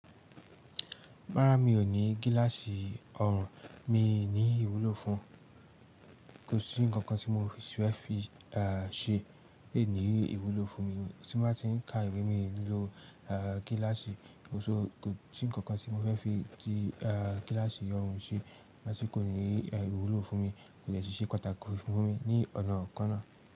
Rárá, mi ò ní gíláàsì ọrùn, mi ní ìwúlò fún. Kò sí ǹkankan tí mo fẹ́ fi ṣe lé ní ìwúlò fún mi tí mo bá ti ń ka ìwé mi lò gíláàsì. Kò sí ǹkankan tí mo fẹ́ fi ti gíláàsì ọrùn ṣe nígbà tí kò ní ìwúlò fún mi, kò dẹ ṣe pàtàkì fún mi ní ọ̀nà kan náà.